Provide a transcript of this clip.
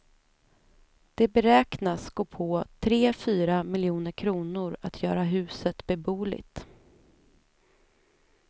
Det beräknas gå på tre fyra miljoner kronor att göra huset beboeligt.